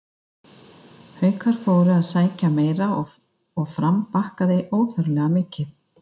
Haukar fóru að sækja meira og Fram bakkaði óþarflega mikið.